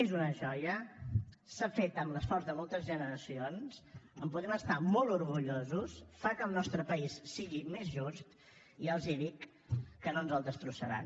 és una joia s’ha fet amb l’esforç de moltes generacions en podem estar molt orgullosos fa que el nostre país sigui més just i ja els dic que no ens el destrossaran